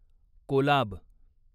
Kolab